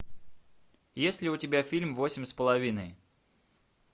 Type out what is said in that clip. есть ли у тебя фильм восемь с половиной